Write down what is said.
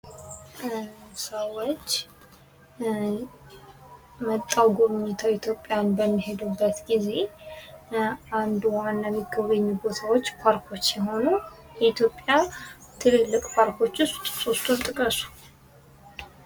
ሰዎች መጥተው ጉብኝተው ኢትዮጵያን በሚሄዱበት ጊዜ አንድ አንድ ዋና ሚጎበኙ ቦታዎች ፓርኮች ሲሆኑ የኢትዮጵያ ትልልቅ ፓርኮች ውስጥ ሶስቱን ጥቀሱ?